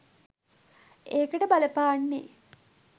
ඒකට බලපාන්නෙ